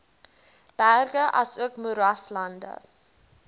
berge asook moeraslande